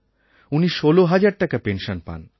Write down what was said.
উনি ১৬০০০ টাকা পেনশন পান